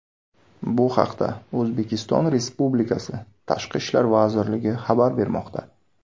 Bu haqda O‘zbekiston Respublikasi Tashqi ishlar vazirligi xabar bermoqda .